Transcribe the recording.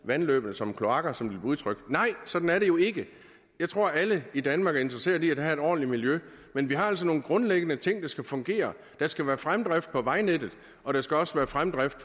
vandløbene som kloakker som det bliver udtrykt nej sådan er det jo ikke jeg tror alle i danmark er interesserede i at have et ordentligt miljø men vi har altså nogle grundlæggende ting der skal fungere der skal være fremdrift på vejnettet og der skal også være fremdrift